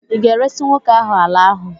ị ga-eresị nwoke ahụ ala ahụ?